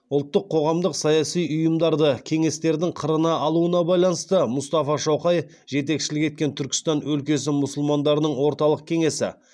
ұлттық қоғамдық саяси ұйымдарды кеңестердің қырына алуына байланысты мұстафа шоқай жетекшілік еткен түркістан өлкесі мұсылмандарының орталық кеңесі